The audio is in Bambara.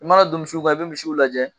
I mana don misiw kan i bɛ misiw lajɛ